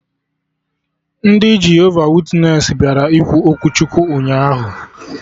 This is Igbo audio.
Ndị Jehova witnesị bịara ikwu okwu Chukwu ụnyaahụ